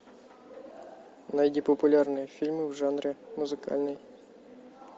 найди популярные фильмы в жанре музыкальный